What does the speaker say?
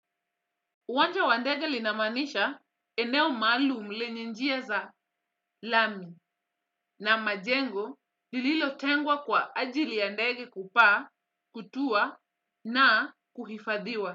Uwanja wandege linamaanisha eneo maalumu lenye njia za lami na majengo lililotengwa kwa ajili ya ndege kupaa, kutua na kuhifadhiwa.